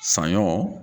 Saɲɔ